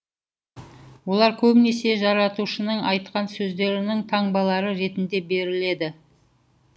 олар көбінесе жаратушының айтқан сөздерінің таңбалары ретінде беріледі